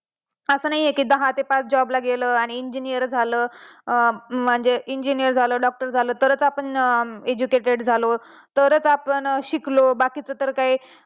हा ते पण आहे कि दहा ते पाच job ला गेलो आणि engineer झालो. म्हणजे engineer झालो doctor झालो तरच आपण educate झालो, तरच आपण शिकलो बाकीचं तर काय.